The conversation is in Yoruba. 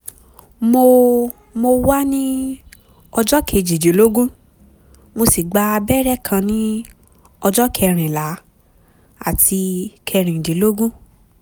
mo mo wà ní ọjọ́ kejìdínlógún mo sì gba abẹ́rẹ́ kan ní ọjọ́ kẹrìnlá àti kẹrìndínlógún